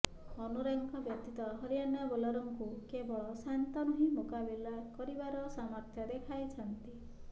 ଅନୁରାଗଙ୍କ ବ୍ୟତୀତ ହରିଆଣା ବୋଲରଙ୍କୁ କେବଳ ଶାନ୍ତନୁ ହିଁ ମୁକାବିଲା କରିବାର ସାମର୍ଥ୍ୟ ଦେଖାଇଛନ୍ତି